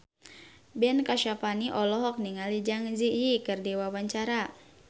Ben Kasyafani olohok ningali Zang Zi Yi keur diwawancara